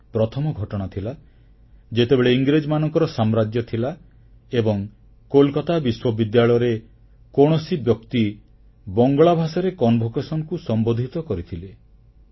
ଏହା ପ୍ରଥମ ଘଟଣା ଥିଲା ଯେତେବେଳେ ଇଂରେଜମାନଙ୍କର ସାମ୍ରାଜ୍ୟ ଥିଲା ଏବଂ କୋଲକାତା ବିଶ୍ୱବିଦ୍ୟାଳୟରେ କୌଣସି ବ୍ୟକ୍ତି ବଙ୍ଗଳା ଭାଷାରେ ସମାବର୍ତ୍ତନ ଉତ୍ସବକୁ ସମ୍ବୋଧିତ କରିଥିଲେ